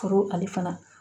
Foro ale fana